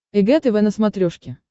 эг тв на смотрешке